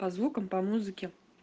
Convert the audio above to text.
по звукам по музыке